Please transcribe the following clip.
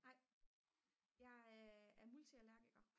nej jeg er multiallergiker